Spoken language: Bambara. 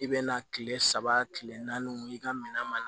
I bɛ na kile saba kile naani i ka minɛn ma